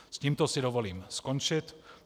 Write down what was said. S tímto si dovolím skončit.